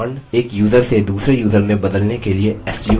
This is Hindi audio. एक यूज़र से दूसरे यूज़र में बदलने के लिए su command